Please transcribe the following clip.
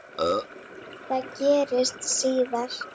Það gerðist síðar.